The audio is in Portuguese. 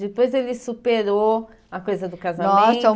Depois ele superou a coisa do casamento? Nossa